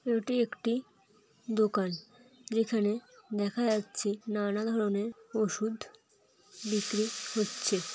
এটি একটি দোকান ।যেখানে দেখা যাচ্ছে নানান ধরনের ওষুধ বিক্রি হচ্ছে।